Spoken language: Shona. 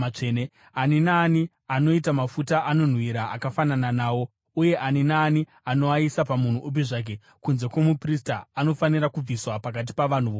Ani naani anoita mafuta anonhuhwira akafanana nawo uye ani naani anoaisa pamunhu upi zvake kunze kwomuprista anofanira kubviswa pakati pavanhu vokwake.’ ”